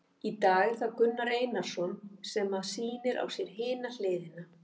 Í dag er það Gunnar Einarsson sem að sýnir á sér hina hliðina.